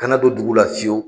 Kana don dugu la fiewu.